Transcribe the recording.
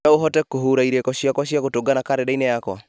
no ũhote kũhura irĩko ciakwa cia gũtũngana karenda-inĩ yakwa